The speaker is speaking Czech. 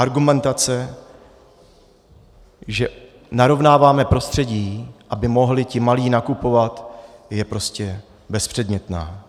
Argumentace, že narovnáváme prostředí, aby mohli ti malí nakupovat, je prostě bezpředmětná.